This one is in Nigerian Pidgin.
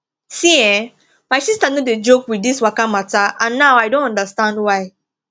see[um]my sister no dey joke with this waka matter and now i don understand why